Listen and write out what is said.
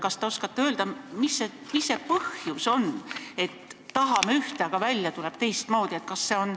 Kas te oskate öelda, mis see põhjus on, et me tahame ühte, aga välja tuleb teistmoodi?